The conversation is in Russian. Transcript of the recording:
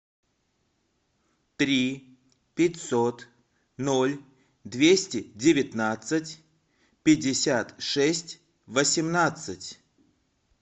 три пятьсот ноль двести девятнадцать пятьдесят шесть восемнадцать